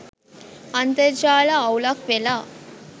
අන්තර්ජාල අවුලක් වෙලා